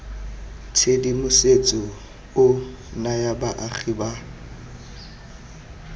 tshedimosetso o naya baagi ba